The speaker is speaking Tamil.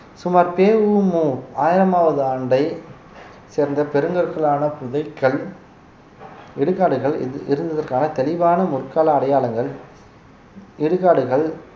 சுமார் பெ உ மு ஆயிரமாவது ஆண்டை சேர்ந்த பெருங்கற்களாலான ன புதைக்கல் இடுகாடுகள் இருந்~ இருந்ததற்கான தெளிவான முற்கால அடையாளங்கள் இடுகாடுகள்